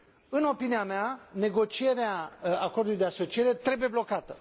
În opinia mea, negocierea acordului de asociere trebuie blocată.